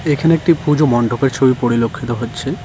এখানে একটি পুজো মণ্ডপের ছবি পরিলক্ষিত হচ্ছে।